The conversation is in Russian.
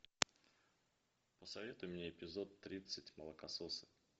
посоветуй мне эпизод тридцать молокососы